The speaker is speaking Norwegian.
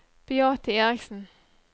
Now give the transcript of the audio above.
Beate Eriksen